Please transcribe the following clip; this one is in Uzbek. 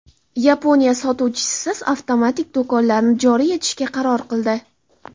Yaponiya sotuvchisiz avtomatik do‘konlarni joriy etishga qaror qildi.